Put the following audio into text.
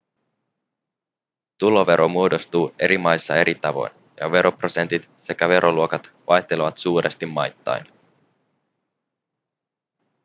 tulovero muodostuu eri maissa eri tavoin ja veroprosentit sekä veroluokat vaihtelevat suuresti maittain